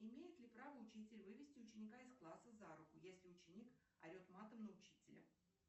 имеет ли право учитель вывести ученика из класса за руку если ученик орет матом на учителя